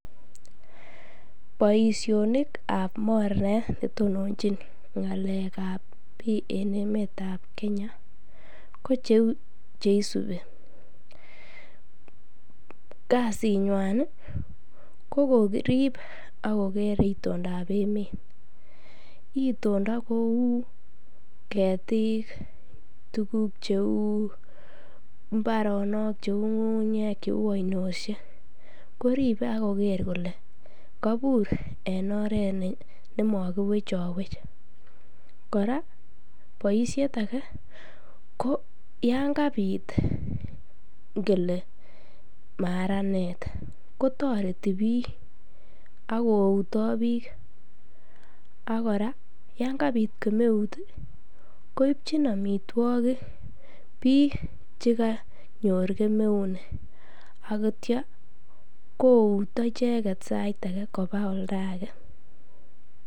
Boishonikab mornet netononchin ng'alekab bii en emetab kenya ko cheuu chesubi, kasinywan ko korib ak koker itondab emet, itondo kouu ketik tukuk cheuu mbraoonok cheuu ng'ung'unyek cheuu ainoshek, koribe ak koker kolee kobur en oret ne mokiwechowech, kora boishet ake ko yoon kabit ngele maranet kotoreti biik ak kouto biik ak kora yoon kabit kemeut koibchin amitwokik biik chekonyor kemeu nii akityo kouto icheket kobaa oldake.